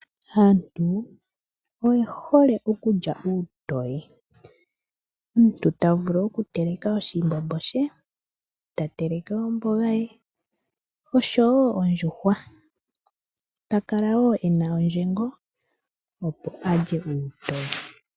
Aantu oye hole okulya uutoye. Omuntu ta vule oku telka oshimbombo she eta teleke omboga ye oshsowo ondjuhwa ta kala ena ondjengo a lye uutoye